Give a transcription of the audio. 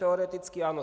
Teoreticky ano.